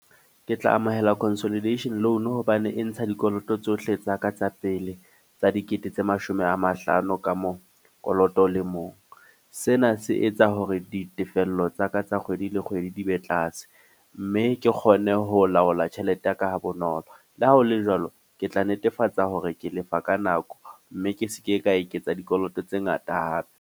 Ke tla amohela consolidation loan hobane e ntsha dikoloto tsohle tsa ka tsa pele. Tsa dikete tse mashome a mahlano ka mo koloto o le mong. Sena se etsa hore ditefello tsa ka tsa kgwedi le kgwedi di be tlase. Mme ke kgone ho laola tjhelete ya ka ha bonolo. Le ha hole jwalo, ke tla netefatsa hore ke lefa ka nako. Mme ke seke ka eketsa dikoloto tse ngata hape.